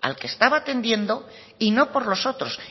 al que estaba atendiendo y no por los otros